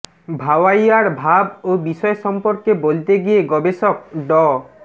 ভাওয়াইয়ার ভাব ও বিষয় সম্পর্কে বলতে গিয়ে গবেষক ড